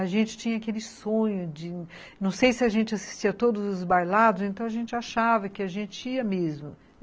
A gente tinha aquele sonho de... Não sei se a gente assistia todos os bailados, então a gente achava que a gente ia mesmo.